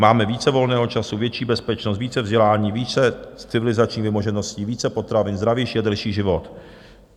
Máme více volného času, větší bezpečnost, více vzdělání, více civilizačních vymožeností, více potravin, zdravější a delší život.